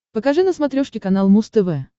покажи на смотрешке канал муз тв